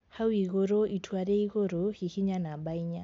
Hau igũrũ ( itua ria igũrũ) hihinya namba inya